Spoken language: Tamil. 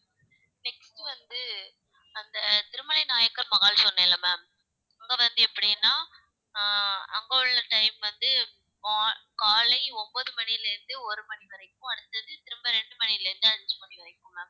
next வந்து அந்த திருமலை நாயக்கர் மஹால் சொன்னேன்ல ma'am அங்க வந்து எப்படின்னா ஆஹ் அங்க உள்ள time வந்து மா~ காலை ஒன்பது மணியில இருந்து ஒரு மணி வரைக்கும் அடுத்தது திரும்ப ரெண்டு மணியில இருந்து அஞ்சு மணி வரைக்கும் ma'am